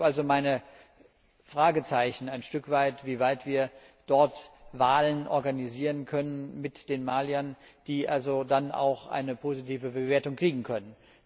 Ich habe also meine Fragezeichen ein stückweit, wie weit wir dort Wahlen organisieren können, mit den Maliern, die also dann auch eine positive Bewertung kriegen können.